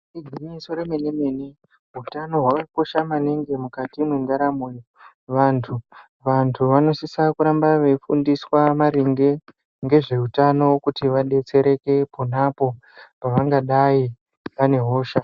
Igwinyiso remene mene utano hwakakosha maningi mukati mwendaramo yevantu, vantu vanosise kuramba veifundiswa maringe ngezveutano kuti vadetsereke ponapo pavangadai vane hosha.